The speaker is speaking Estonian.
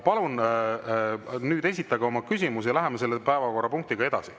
Palun esitage oma küsimus ja läheme päevakorrapunktiga edasi.